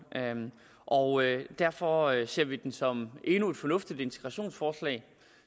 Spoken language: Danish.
og derfor ser vi den som endnu et fornuftigt integrationsforslag